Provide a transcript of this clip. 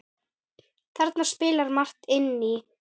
Þarna spilar margt inn í.